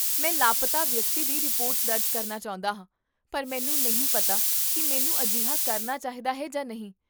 ਮੈਂ ਲਾਪਤਾ ਵਿਅਕਤੀ ਦੀ ਰਿਪੋਰਟ ਦਰਜ ਕਰਨਾ ਚਾਹੁੰਦਾ ਹਾਂ ਪਰ ਮੈਨੂੰ ਨਹੀਂ ਪਤਾ ਕੀ ਮੈਨੂੰ ਅਜਿਹਾ ਕਰਨਾ ਚਾਹੀਦਾ ਹੈ ਜਾਂ ਨਹੀਂ